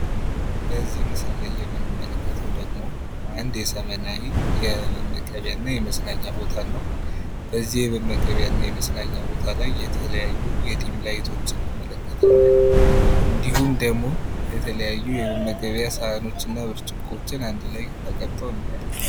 በዚህ መስል ላይ የምንመለከተው ደግሞ አንድ የዘመናዊ የመመገቢያና የመዝናኛ ቦታን ነው። በዚህ የመመገቢያና የመዝናኛ ቦታ ላይ የተለያዩ ድም ላይቶችን እንመለከታለን እንዲሁም ደግሞ የተለያዩ የመመገቢያ ስሃኖችንና ብርጭቆችን አንድ ላይ ተቀምጦ እናያለን።